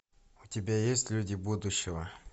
у тебя есть люди будущего